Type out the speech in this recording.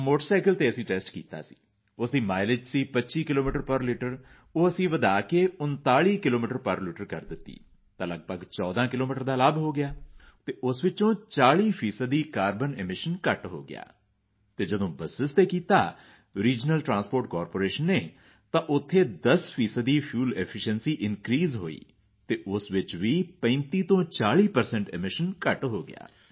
motorcycle ਤੇ ਅਸੀਂ test ਕੀਤਾ ਉਸ ਦੀ ਮਾਈਲੇਜ ਸੀ 25 ਕਿਲੋਮੀਟਰਜ਼ ਪੇਰ ਲਿਟਰ ਉਹ ਵਧਾ ਦਿੱਤੀ 39 ਕਿਲੋਮੀਟਰਜ਼ ਪੇਰ ਲਿਟਰ ਤਾਂ ਲਗਭਗ 14 ਕਿਲੋਮੀਟਰ ਦਾ ਲਾਭ ਹੋਇਆ ਅਤੇ ਉਸ ਵਿੱਚੋਂ 40 ਫੀਸਦੀ ਦਾ ਕਾਰਬਨ ਐਮਿਸ਼ਨਜ਼ ਘੱਟ ਹੋ ਗਿਆ ਅਤੇ ਜਦੋਂ ਬਸ ਤੇ ਕੀਤਾ ਰੀਜ਼ਨਲ ਟ੍ਰਾਂਸਪੋਰਟ ਕਾਰਪੋਰੇਸ਼ਨ ਨੇ ਤਾਂ ਉੱਥੇ 10 ਫੀਸਦੀ ਫੁਏਲ ਐਫੀਸ਼ੀਐਂਸੀ ਇਨਕ੍ਰੀਜ਼ ਹੋਈ ਅਤੇ ਉਸ ਵਿੱਚ ਵੀ 3540 ਪਰਸੈਂਟ ਐਮੀਸ਼ਨ ਘੱਟ ਹੋ ਗਿਆ